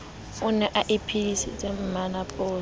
o ne a bitsitse mmantsopa